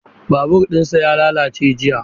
Babur ɗinsa ya lalace jiya.